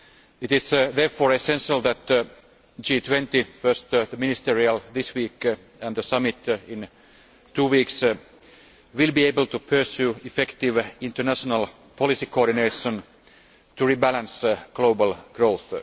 It is therefore essential that the G20, first the ministerial meeting this week, and then the summit in two weeks, is able to pursue effective international policy coordination to rebalance global growth.